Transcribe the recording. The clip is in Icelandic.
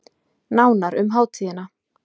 Nánar um hátíðina